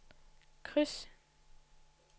kryds